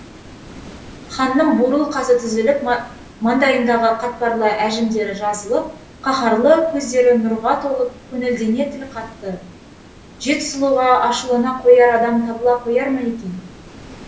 ханның бурыл қасы түзеліп маңдайындағы қатпарлы әжімдері жазылып қаһарлы көздері нұрға толып көңілдене тіл қатты жет сұлуға ашулана қояр адам табыла қояр ма екен